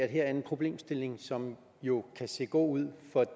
her er en problemstilling som jo kan se god ud for